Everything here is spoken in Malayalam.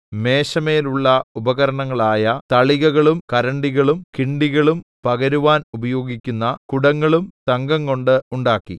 മേശമേലുള്ള ഉപകരണങ്ങളായ തളികകളും കരണ്ടികളും കിണ്ടികളും പകരുവാൻ ഉപയോഗിക്കുന്ന കുടങ്ങളും തങ്കംകൊണ്ട് ഉണ്ടാക്കി